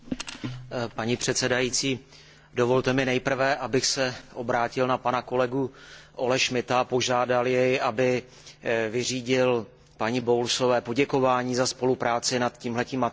Paní předsedající, dovolte mi nejprve, abych se obrátil na pana kolegu Olleho Schmidta a požádal jej, aby vyřídil paní Bowlesové poděkování za spolupráci nad tímto materiálem.